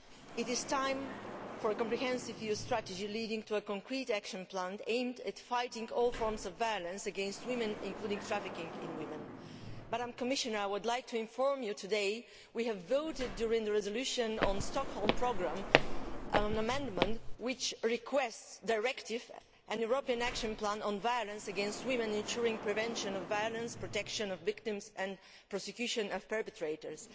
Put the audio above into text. It is time for a comprehensive EU strategy leading to a concrete action plan aimed at fighting all forms of violence against women, including trafficking in women. Commissioner, I would like to inform you that we have today voted, during the resolution on the Stockholm Programme on an amendment which requests a directive, a European action plan, on violence against women ensuring the prevention of violence, the protection of victims and the prosecution of perpetrators.